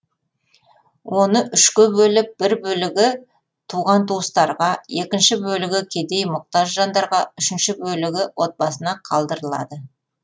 оны үшке бөліп бір бөлігі туған туыстарға екінші бөлігі кедей мұқтаж жандарға үшінші бөлігі отбасына қалдырылады